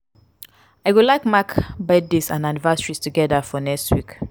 i go like mark birthdays and anniversaries together for next week.